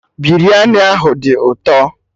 Biryani ahụ dị ụtọ